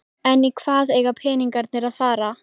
En í hvað eiga peningarnir að fara?